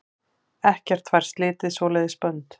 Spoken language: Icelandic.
Ekkert fær slitið svoleiðis bönd.